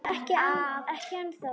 Ekki ennþá